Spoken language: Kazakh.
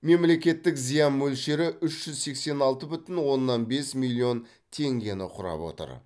мемлекеттік зиян мөлшері үш жүз сексен алты бүтін оннан бес миллион теңгені құрап отыр